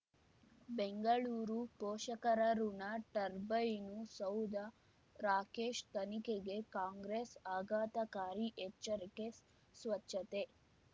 ಬೆಂಗಳೂರು ಪೋಷಕರಋಣ ಟರ್ಬೈನು ಸೌಧ ರಾಕೇಶ್ ತನಿಖೆಗೆ ಕಾಂಗ್ರೆಸ್ ಆಘಾತಕಾರಿ ಎಚ್ಚರಿಕೆ ಸ್ವಚ್ಛತೆ